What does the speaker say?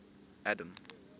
adam